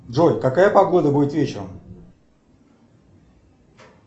джой какая погода будет вечером